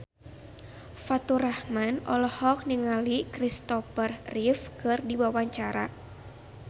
Faturrahman olohok ningali Christopher Reeve keur diwawancara